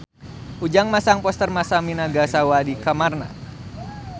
Ujang masang poster Masami Nagasawa di kamarna